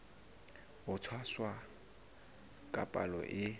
ho tshwasa ka palo e